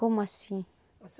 Como assim?